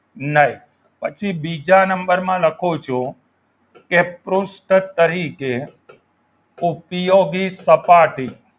નઈ પછી બીજા નંબરમાં લખું છું કે પૃષ્ઠ તરીકે ઉપયોગી સપાટી